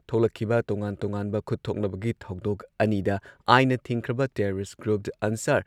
ꯊꯣꯛꯂꯛꯈꯤꯕ ꯇꯣꯉꯥꯟ-ꯇꯣꯉꯥꯟꯕ ꯈꯨꯠ ꯊꯣꯛꯅꯕꯒꯤ ꯊꯧꯗꯣꯛ ꯑꯅꯤꯗ ꯑꯥꯏꯟꯅ ꯊꯤꯡꯈ꯭ꯔꯕ ꯇꯦꯔꯣꯔꯤꯁꯠ ꯒ꯭ꯔꯨꯞ ꯑꯟꯁꯥꯔ